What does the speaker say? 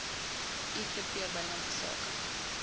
ivp binnelandse sake